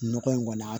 Nɔgɔ in kɔni